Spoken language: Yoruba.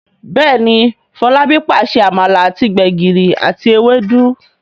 Béèni Folabi pàṣẹ amala àti gbegiri àti Ewédú.